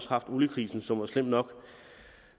haft oliekrisen som var slem nok